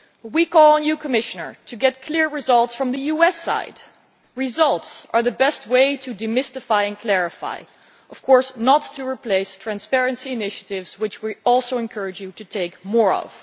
We call on you, Commissioner, to get clear results from the US side, as results are the best way to demystify and clarify, while not, of course, replacing transparency initiatives, which we also encourage you to take more of.